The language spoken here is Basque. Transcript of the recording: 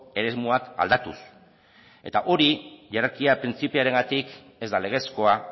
eremuak aldatuz eta hori jerarkia printzipioarengatik ez da legezkoa